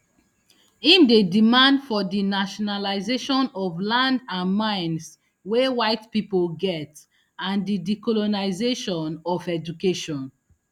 im dey demand for di nationalisation of land and mines wey whitepipo get and di decolonisation of education